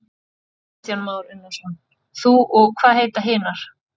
Kristján Már Unnarsson: Þú og hvað heita hinar?